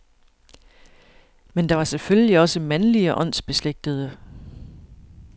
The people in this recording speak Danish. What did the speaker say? Men der var selvfølgelig også mandlige åndsbeslægtede.